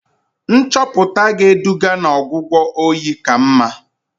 Nchọpụta ga-eduga n'ọgwụgwọ oyi ka mma.